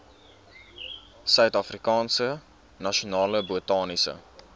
suidafrikaanse nasionale botaniese